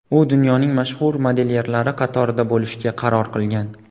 U dunyoning mashhur modelyerlari qatorida bo‘lishga qaror qilgan.